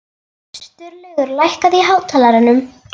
Sturlaugur, lækkaðu í hátalaranum.